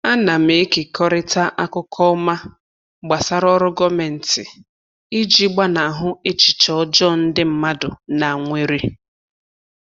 Ana m ekekọrịta akụkọ ọma gbasara oru gọọmentị iji gbanahụ echiche ọjọọ ndị mmadụ na nwere.